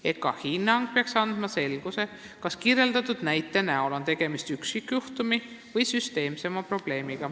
EKKA hinnang peaks andma selguse, kas kirjeldatud näide on üksikjuhtum või on see süsteemsem probleem.